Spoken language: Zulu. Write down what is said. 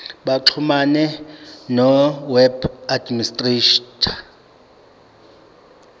baxhumane noweb administrator